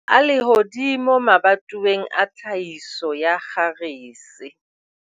MAEMO A LEHODIMO MABATOWENG A TLHAHISO YA KGARESE